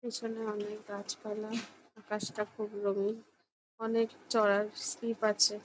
পিছনে অনেক গাছপালা। আকাশটা খুব রঙিন। অনেক চড়ার স্লীপ আছে ।